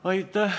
Aitäh!